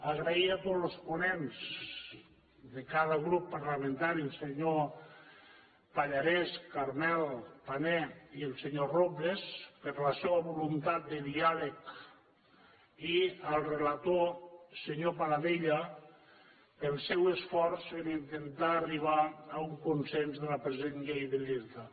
agrair a tots los ponents de cada grup parlamentari els senyors pallarès carmel pané i el senyor robles la seva voluntat de diàleg i al relator senyor paladella el seu esforç per intentar arribar a un consens de la present llei de i’irta